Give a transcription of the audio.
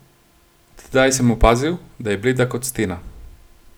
Tedaj sem opazil, da je bleda kot stena.